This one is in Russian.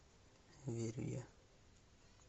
верю я